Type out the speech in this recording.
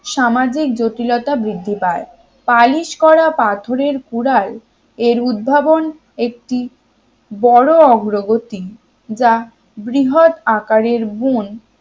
সামাজিক জটিলতা বৃদ্ধি পায় পালিশ করা পাথরের কুড়াল এর উদ্ভাবন একটি বড় অগ্রগতি যা বৃহৎ আকারের বুন